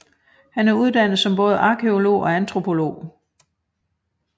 Han er uddannet som både arkæolog og antropolog